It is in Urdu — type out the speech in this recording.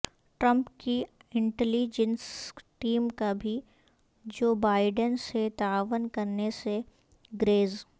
ٹرمپ کی انٹلی جنس ٹیم کا بھی جو بائیڈن سے تعاون کرنے سے گریز